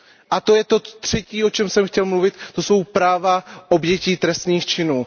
A to je to třetí, o čem jsem chtěl mluvit. To jsou práva obětí trestných činů.